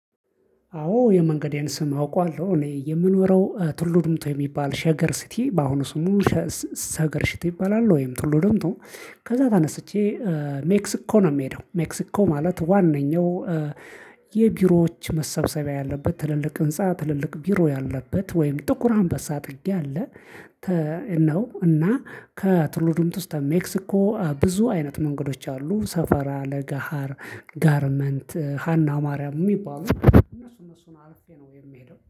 አዎ የመንገዴን ስም አውቃዋለሁ እኔ የምኖረው ቱሉ ድምቱ የሚባል ሸገር ሲቲ በአሁኑ ስሙ ሸገር ስት ይባላል ወይም ቱሉ ደምቱ። ከዚያ ተነስቼ ሜክሲኮ ነው የምሄደው ሜክሲኮ ማለት ዋናው። የቢሮዎች መሰብሰቢያ ያለበት ትልልቅ ህንፃ ትልልቅ ቢሮ ያለበት ወይም ጥቁር አንበሳ ጥግ ያለ ነው። እና ከቱሉ ድምቱ እስከ ሜክሲኮ ብዙ አይነት መንገዶች አሉ ሰፈራ ለጋሃር ጋርመንት ሃና ማርያም የሚባሉ እነሱ እነሱን አልፌ ነው የምሄደው